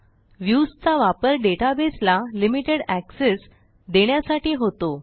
Viewsचा वापर डेटाबेसला limited access देण्यासाठी होतो